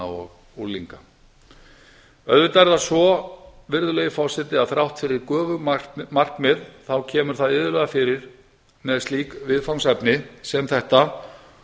og unglinga auðvitað er það svo að þrátt fyrir göfug markmið þá kemur það iðulega fyrir með slík viðfangsefni sem þetta